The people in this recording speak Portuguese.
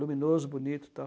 Luminoso, bonito e tal.